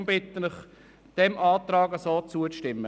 Darum bitte ich Sie, dem Antrag zuzustimmen.